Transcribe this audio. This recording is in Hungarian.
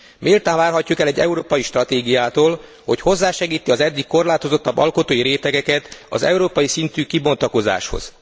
Méltán várhatjuk el egy európai stratégiától, hogy hozzásegíti az eddig korlátozottabb alkotói rétegeket az európai szintű kibontakozáshoz.